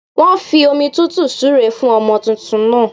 Wọn fi omi tútù súre fún ọmọ tuntun náà